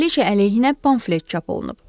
Kraliça əleyhinə pamflet çap olunub.